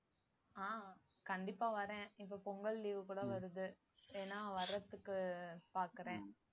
ஆஹ் கண்டிப்பா வரேன் இப்ப பொங்கல் leave கூட வருது வேணா வர்றதுக்கு பாக்கறேன்